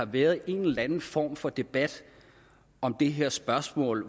været en eller anden form for debat om det her spørgsmål